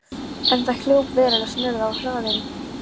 En þá hljóp veruleg snurða á þráðinn.